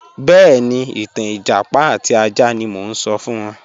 Bẹẹni, ìtàn ẹjápá àti àjà ni mo n sọ̀ fún wọn